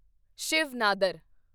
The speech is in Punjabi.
ਸ਼ਿਵ ਨਾਦਰ